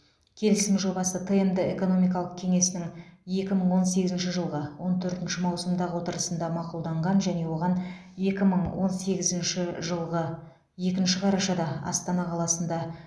келісім жобасы тмд экономикалық кеңесінің екі мың он сегізінші жылғы он төртінші маусымдағы отырысында мақұлданған және оған екі мың он сегізінші жылғы екінші қарашада астана қаласында